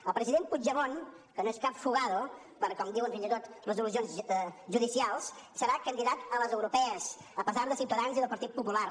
el president puigdemont que no és cap fugado com diuen fins i tot resolucions judicials serà candidat a les europees a pesar de ciutadans i del partit popular